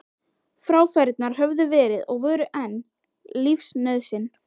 Fráfærurnar höfðu verið og voru enn lífsnauðsyn.